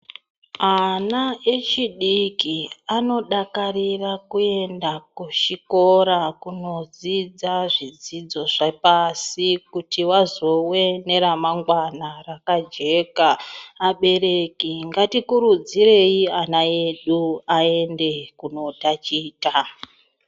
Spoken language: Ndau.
Ana echidiki anodakarira kuenda kuzvikora kundodzidza zvidzidzo zvepashi kuti vazove nendaramo yakajeka adetsereke ngatikurudzirei ana edu aende kundotaticha.